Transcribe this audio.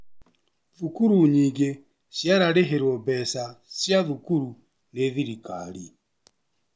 Thukuru nyingĩcirarĩhĩrwo mbeca cia cukuru nĩ thirikari.